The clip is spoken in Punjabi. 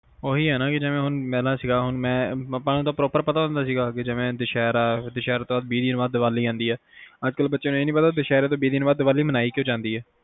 ਓਹੀ ਆ ਨਾ ਵੀ ਮੇਰੇ ਨਾਲ ਸੀ ਆਪ ਨੂੰ ਤਾ ਪਤਾ ਹੁੰਦਾ ਜਿਵੇ ਦੁਸਹਿਰਾ ਤੋਂ ਬਆਦ ਦੀਵਾਲੀ ਹੁੰਦੀ ਆ ਅੱਜ ਕਲ ਤਾ ਆਏ ਨੀ ਪਤਾ ਕੇ ਵਿੱਹ ਦਿਨ ਬਆਦ ਦਿਵਾਲੀ ਮਨਾਈ ਕਯੋ ਜਾਂਦੀ ਆ